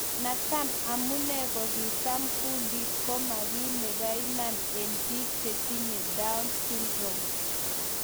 natam amunee kungit ap kundit koma kii ne paiman en piik chetinye Down�s syndrome